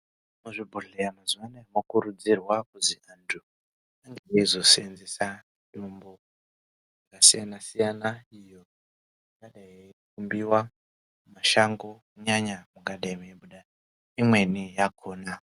Muzvibhedhleya mazuva anaya mokurudzirwa kuzi antu ange eizo senzesa mitombo yakasiyana-siyana. Iyo ingadai yeibudiva muma shango mungadai mweibuda imweni yakona.